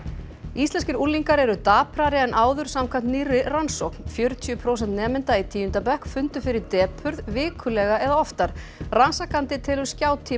íslenskir unglingar eru daprari en áður samkvæmt nýrri rannsókn fjörutíu prósent nemenda í tíunda bekk fundu fyrir depurð vikulega eða oftar rannsakandi telur